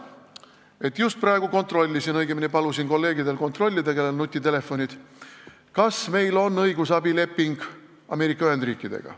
Ma just praegu kontrollisin, õigemini palusin nendel kolleegidel, kellel on nutitelefon, kontrollida, kas meil on õigusabileping Ameerika Ühendriikidega.